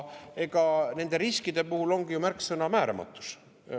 Aga nende riskide puhul ongi ju märksõna määramatus.